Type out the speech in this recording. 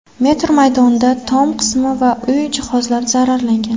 metr maydonda tom qismi va uy jihozlari zararlangan.